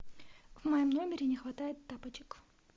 в моем номере не хватает тапочек